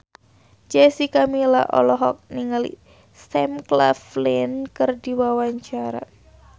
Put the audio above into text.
Jessica Milla olohok ningali Sam Claflin keur diwawancara